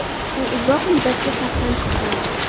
U uzoq muddatga safdan chiqqan.